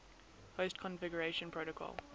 host configuration protocol